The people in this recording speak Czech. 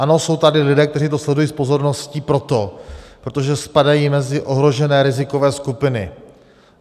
Ano, jsou tady lidé, kteří to sledují s pozorností proto, protože spadají mezi ohrožené rizikové skupiny.